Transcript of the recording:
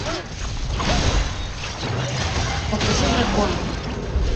покажи драконы